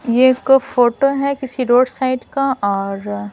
ये एक फोटो है किसी रोड साइड का और--